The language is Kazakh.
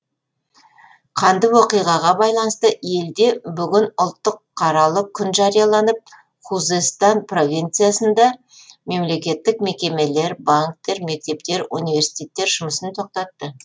қанды оқиғаға байланысты елде бүгін ұлттық қаралы күн жарияланып хузестан провинциясында мемлекеттік мекемелер банктер мектептер университеттер жұмысын тоқтатты